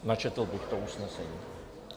Načetl bych to usnesení.